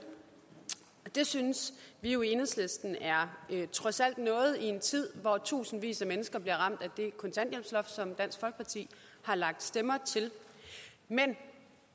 det synes vi jo i enhedslisten trods alt er noget i en tid hvor tusindvis af mennesker bliver ramt af det kontanthjælpsloft som dansk folkeparti har lagt stemmer til men